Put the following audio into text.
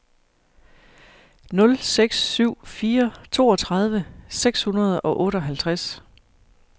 nul seks syv fire toogtredive seks hundrede og otteoghalvtreds